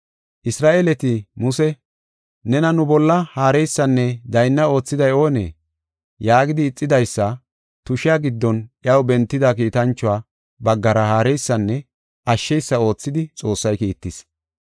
“Isra7eeleti Muse, ‘Nena nu bolla haareysanne daynna oothiday oonee?’ yaagidi ixidaysa tushiya giddon iyaw bentida kiitanchuwa baggara haareysanne ashsheysa oothidi Xoossay kiittis.